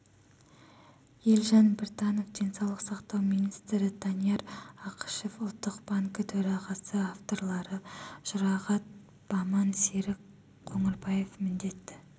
елжан біртанов денсаулық сақтау министрі данияр ақышев ұлттық банкі төрағасы авторлары жұрағат баман серік қоңырбаев міндетті